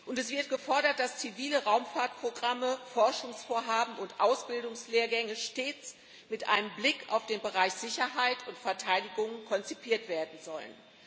Es wird gefordert, dass zivile Raumfahrtprogramme, Forschungsvorhaben und Ausbildungslehrgänge stets mit einem Blick auf den Bereich Sicherheit und Verteidigung konzipiert werden sollen.